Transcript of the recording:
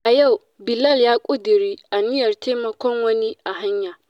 A yau, Bilal ya ƙudiri aniyar taimakon wani a hanya.